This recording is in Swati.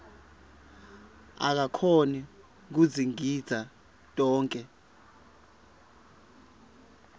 akakhoni kudzingidza tonkhe